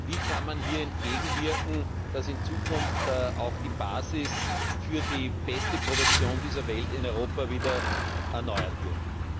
Wie kann man hier entgegenwirken, dass in Zukunft auch die Basis für die beste Produktion dieser Welt in Europa wieder erneuert wird?